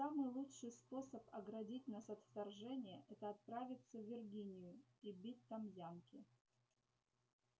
и самый лучший способ оградить нас от вторжения это отправиться в виргинию и бить там янки